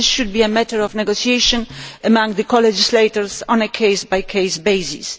This should be a matter of negotiation among the colegislators on a case by case basis.